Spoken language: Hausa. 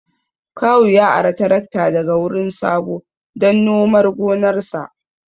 Kawu ya ara tarakta daga wurin Sabo dan nomar gonarsa